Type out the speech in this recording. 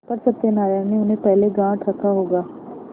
पर सत्यनारायण ने उन्हें पहले गॉँठ रखा होगा